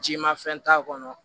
Ji mafɛn t'a kɔnɔ